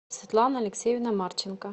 светлана алексеевна марченко